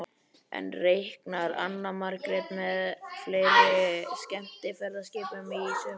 En reiknar Anna Margrét með fleiri skemmtiferðaskipum í sumar?